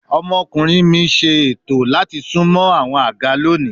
Mi omokunrin ètò o si sunmọ awọn aga loni